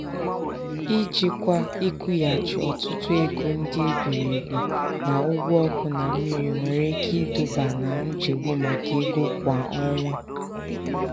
ijikwa ịkwụghachi ọtụtụ ego ndị e biri ebi na ụgwọ ọkụ na mmiri nwere ike iduba na nchegbu maka ego kwa ọnwa.